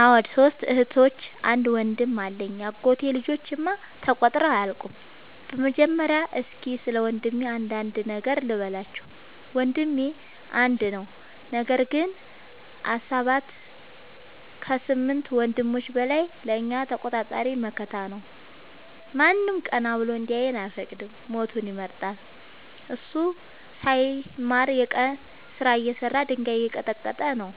አዎ ሶስት እህቶች አንድ ወንድም አለኝ የአጎቴ ልጆች እማ ተቆጥረው አያልቁም። በመጀመሪያ እስኪ ስለወንድሜ አንዳንድ ነገር ልበላችሁ። ወንድሜ አንድ ነው ነገር ግን አሰባት ከስምንት ወንድሞች በላይ ለእኛ ተቆርቋሪ መከታ ነው። ማንም ቀና ብሎ እንዲያየን አይፈቅድም ሞቱን ይመርጣል። እሱ ሳይማር የቀን ስራ እየሰራ ድንጋይ እየቀጠቀጠ ነው።